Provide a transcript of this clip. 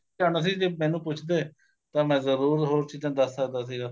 ਜਾਣਾ ਸੀ ਜੇ ਮੈਨੂੰ ਪੁੱਛਦੇ ਤਾਂ ਮੈਂ ਜਰੂਰ ਹੋਰ ਚੀਜ਼ਾਂ ਦੱਸ ਸਕਦਾ ਸੀਗਾ